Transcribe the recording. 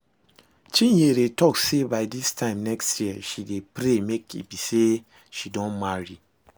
Chinyere talk say by dis time next year she dey pray make e be say she don marry